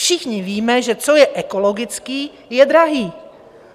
Všichni víme, že co je ekologické, je drahé.